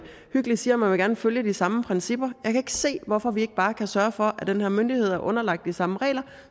hyggeligt siger at man gerne vil følge de samme principper kan ikke se hvorfor vi ikke bare kan sørge for at den her myndighed er underlagt de samme regler